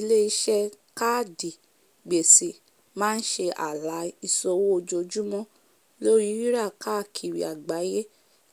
ilé-iṣẹ káàdì gbèsè máa ń ṣe ààlà ìṣòwò ojoojúmọ lóri rírà káàkiri àgbáyé